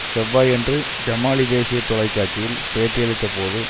செவ்வாயன்று ஜமாலி தேசிய தொலைக்காட்சியில் பேட்டியளித்த போது